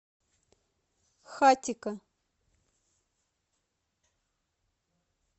хатико